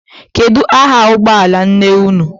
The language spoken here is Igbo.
Kedu aha ụgbọala nne unu?